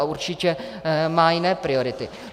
A určitě má jiné priority.